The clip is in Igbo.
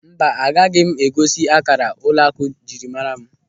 Mba, agaghị m egosi akara ụlọakụ njirimara m.